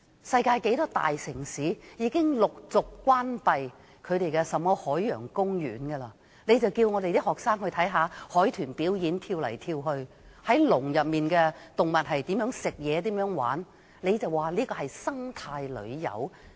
世界許多大城市已經陸續關閉這類海洋公園，你們還叫學生去看海豚跳來跳去、看關在籠內的動物進食和玩耍，還說這是生態旅遊。